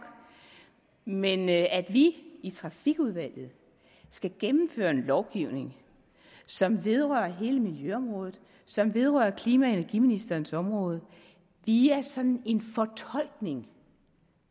men at vi i trafikudvalget skal gennemføre en lovgivning som vedrører hele miljøområdet og som vedrører klima og energiministerens område via sådan en fortolkning